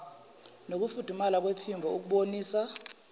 nokufudumala kwephimbo ukubonisa